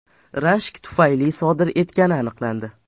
rashk tufayli sodir etgani aniqlandi.